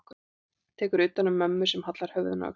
Tekur utan um mömmu sem hallar höfðinu að öxlinni á henni.